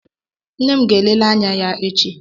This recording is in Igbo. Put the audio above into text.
Nne m ga-elele anya ya echi.